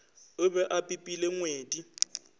a be a pipile ngwedi